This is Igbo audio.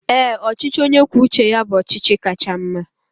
Ee, ọchịchị onye kwuo uche ya bụ ọchịchị kacha mma